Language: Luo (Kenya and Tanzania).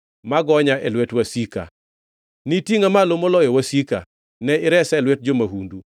ma gonya e lwet wasika. Nitingʼa malo moloyo wasika; ne iresa e lwet jo-mahundu.